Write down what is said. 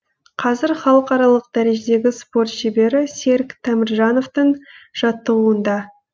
қазір халықаралық дәрежедегі спорт шебері серік теміржановтың жаттығуында